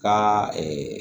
Ka